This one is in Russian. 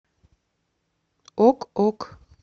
ок ок